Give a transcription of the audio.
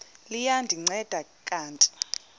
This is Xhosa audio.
liya ndinceda kanti